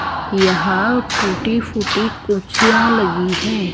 यहां टूटी फूटी कुर्सियां लगी है।